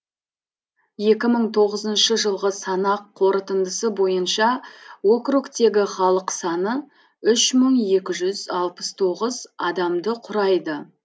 екі мың тоғызыншы жылғы санақ қорытындысы бойынша округтегі халық саны үш мың екі жүз алпыс тоғыз адамды құрайды